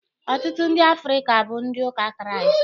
Ọtụtụ ndị Afrịka bụ ndị ụka Kraịst